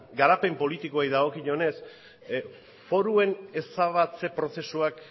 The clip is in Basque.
garapen politikoei dagokionez foruen ezabatze prozesuak